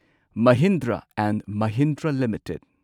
Mahindra and Mahindra limited